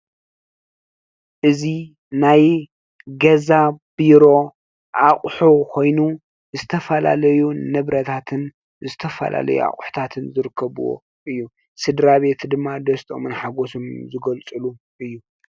እዚ ናይ ገዛ ቢሮ አቑሑ ኮይኑ ዝተፈላለዩ ንብረታትን ዝተፈላለዩ ኣቑሑታትን ዝርከብዎ እዪ። ስድራ ቤት ድማ ደስታኦምን ሓጎሶምን ዝገልፅሉ እዪ ።